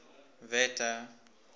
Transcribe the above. wette